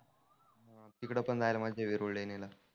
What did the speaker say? तीकड पण जायला मज्जा येईल वेरुळ लेणीला.